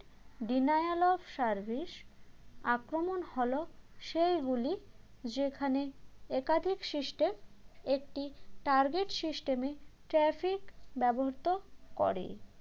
deny all of service আক্রমণ হল সেইগুলি যেখানে একাধিক system একটি target system এ traffic ব্যবহৃত করে